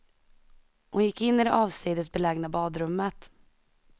Hon gick in i det avsides belägna badrummet.